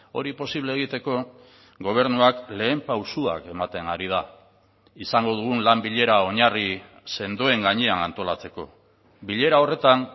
hori posible egiteko gobernuak lehen pausuak ematen ari da izango dugun lan bilera oinarri sendoen gainean antolatzeko bilera horretan